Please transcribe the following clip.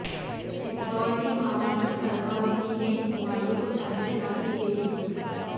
चित्तौड़ की महारानी करमावती ने हुमायूं को चांदी की राखी भेजी थी